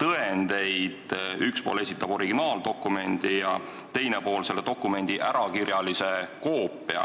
tõendeid nii, et üks pool esitab originaaldokumendi ja teine pool selle dokumendi ärakirjalise koopia?